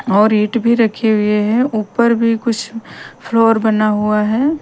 और ईट भी रखे हुए हैं ऊपर भी कुछ फ्लोर बना हुआ हैं ।